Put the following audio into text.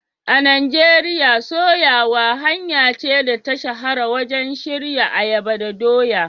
A Najeriya, soyawa hanya ce da ta shahara wajen shirya ayaba da doya.